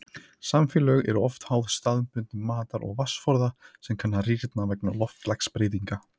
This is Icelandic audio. Samfélög eru oft háð staðbundum matar- og vatnsforða sem kann að rýrna vegna loftslagsbreytinga.